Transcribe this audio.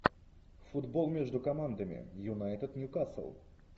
футбол между командами юнайтед ньюкасл